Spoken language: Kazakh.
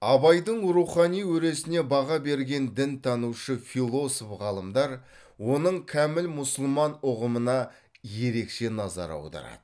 абайдың рухани өресіне баға берген дінтанушы философ ғалымдар оның кәміл мұсылман ұғымына ерекше назар аударады